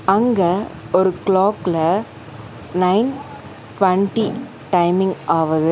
அங்க ஒரு க்ளாக்ல நைன் டுவன்டி டைமிங் ஆவது.